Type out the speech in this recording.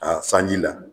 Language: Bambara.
A sanji la